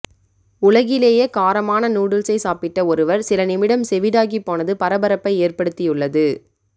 உலகிலேயே காரமான நூடுல்ஸை சாப்பிட்ட ஒருவர் சில நிமிடம் செவிடாகி போனது பரபரப்பை ஏற்படுத்தியுள்ளது